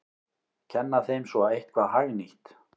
Kenna þeim svo eitthvað hagnýtt!